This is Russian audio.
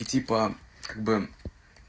и типа как бы